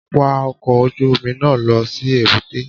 Wa ọkọ̀ ojú Omi náà lọ si èbúté